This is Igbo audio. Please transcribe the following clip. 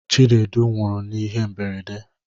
Chinedu nwuru n'ihe mberede.